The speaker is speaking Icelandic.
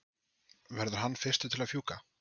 verður hann fyrstur til að fjúka?